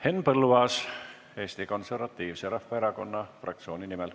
Henn Põlluaas Eesti Konservatiivse Rahvaerakonna fraktsiooni nimel.